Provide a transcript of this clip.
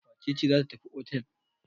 Wace ce za tafi otel?